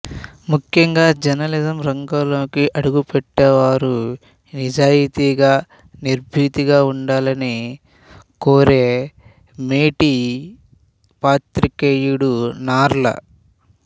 ముఖ్యంగా జర్నలిజం రంగంలోకి అడుగుపెట్టేవారు నిజాయతీగా నిర్భీతిగా ఉండాలని కోరే మేటి పాత్రికేయుడు నార్ల